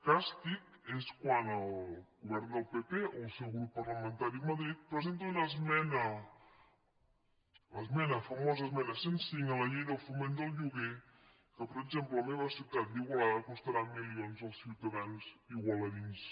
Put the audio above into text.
càstig és quan el govern del pp o el seu grup par·lamentari a madrid presenta un esmena la famosa esmena cent i cinc a la llei del foment del lloguer que per exemple a la meva ciutat d’igualada costarà milions als ciutadans igualadins